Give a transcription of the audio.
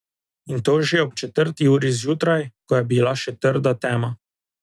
In to že ob četrti uri zjutraj, ko je bila še trda tema.